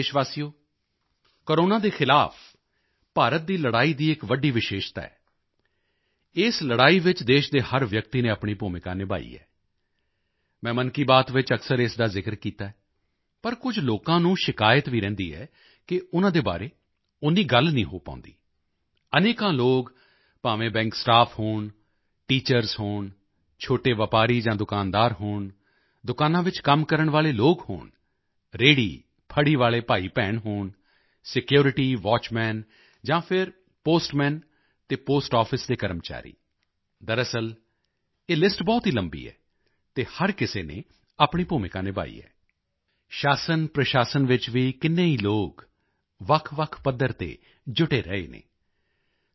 ਮੇਰੇ ਪਿਆਰੇ ਦੇਸ਼ਵਾਸੀਓ ਕੋਰੋਨਾ ਦੇ ਖ਼ਿਲਾਫ਼ ਭਾਰਤ ਦੀ ਲੜਾਈ ਦੀ ਇਕ ਵੱਡੀ ਵਿਸ਼ੇਸ਼ਤਾ ਹੈ ਇਸ ਲੜਾਈ ਵਿੱਚ ਦੇਸ਼ ਦੇ ਹਰ ਵਿਅਕਤੀ ਨੇ ਆਪਣੀ ਭੂਮਿਕਾ ਨਿਭਾਈ ਹੈ ਮੈਂ ਮਨ ਕੀ ਬਾਤ ਵਿੱਚ ਅਕਸਰ ਇਸ ਦਾ ਜ਼ਿਕਰ ਕੀਤਾ ਹੈ ਪਰ ਕੁਝ ਲੋਕਾਂ ਨੂੰ ਸ਼ਿਕਾਇਤ ਵੀ ਰਹਿੰਦੀ ਹੈ ਕਿ ਉਨ੍ਹਾਂ ਦੇ ਬਾਰੇ ਓਨੀ ਗੱਲ ਨਹੀਂ ਹੋ ਪਾਉਂਦੀ ਅਨੇਕਾਂ ਲੋਕ ਭਾਵੇਂ ਬੈਂਕ ਸਟਾਫ ਹੋਣ ਟੀਚਰਜ਼ ਹੋਣ ਛੋਟੇ ਵਪਾਰੀ ਜਾਂ ਦੁਕਾਨਦਾਰ ਹੋਣ ਦੁਕਾਨਾਂ ਵਿੱਚ ਕੰਮ ਕਰਨ ਵਾਲੇ ਲੋਕ ਹੋਣ ਰੇਹੜੀਫੜ੍ਹੀ ਵਾਲੇ ਭਾਈਭੈਣ ਹੋਣ ਸਿਕਿਉਰਿਟੀ ਵਾਚਮੈਨ ਜਾਂ ਫਿਰ ਪੋਸਟਮੈਨ ਅਤੇ ਪੋਸਟ ਆਫਿਸ ਦੇ ਕਰਮਚਾਰੀਦਰਅਸਲ ਇਹ ਲਿਸਟ ਬਹੁਤ ਹੀ ਲੰਬੀ ਹੈ ਅਤੇ ਹਰ ਕਿਸੇ ਨੇ ਆਪਣੀ ਭੂਮਿਕਾ ਨਿਭਾਈ ਹੈ ਸ਼ਾਸਨਪ੍ਰਸ਼ਾਸਨ ਵਿੱਚ ਵੀ ਕਿੰਨੇ ਹੀ ਲੋਕ ਵੱਖਵੱਖ ਪੱਧਰ ਤੇ ਜੁਟੇ ਰਹੇ ਹਨ